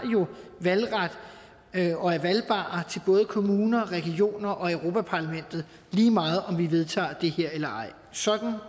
valgret og er valgbare til både kommuner regioner og europa parlamentet lige meget om vi vedtager det her eller ej sådan er